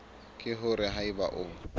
ke hore ha eba o